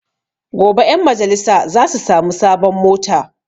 Gobe ƴan majalisa za su sami sabon mota